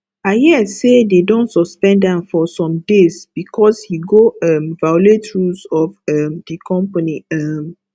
i hear say they don suspend am for some days because he go um violate rule of um the company um